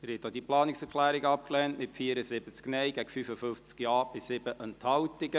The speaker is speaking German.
Sie haben auch diese Planungserklärung abgelehnt, mit 74 Nein- gegen 55 Ja-Stimmen bei 7 Enthaltungen.